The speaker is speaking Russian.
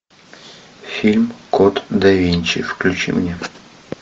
фильм код да винчи включи мне